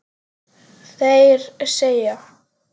Þeir segja